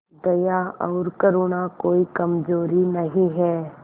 दया और करुणा कोई कमजोरी नहीं है